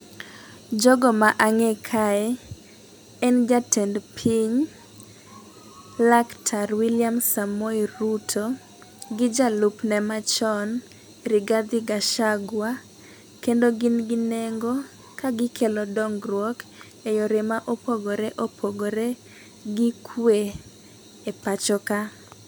Jogo ma ang'e kae en jatend piny Laktar Wiliam Samoei Ruto gi jalupne machon Rigathi Gachagua. Kendo gin gi nengo ka gikelo dongruok e yore mopogre opogre gi kwe e pacho ka.